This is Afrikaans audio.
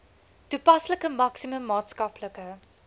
toepaslike maksimum maatskaplike